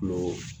Kulo